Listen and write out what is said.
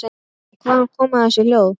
Hvaðan koma þessi hljóð?